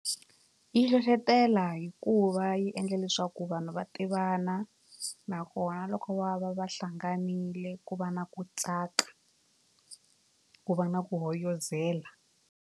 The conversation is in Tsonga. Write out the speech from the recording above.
Yi hlohlotela hikuva yi endle leswaku vanhu va tivana nakona loko va va va hlanganile ku va na ku tsaka ku va na ku hoyozela.